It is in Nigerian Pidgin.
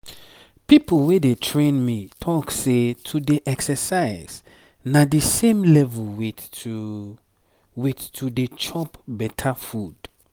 person wey dey train me talk say to dey exercise na the same level with to with to dey chop better food.